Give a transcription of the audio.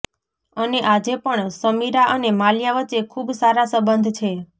અને આજે પણ સમીરા અને માલ્યા વચ્ચે ખુબ સારા સંબંધ છે